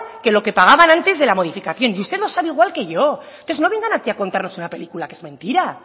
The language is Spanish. que lo que pagaban antes de la modificación y usted lo sabe igual que yo entonces no vengan aquí a contarnos una película que es mentira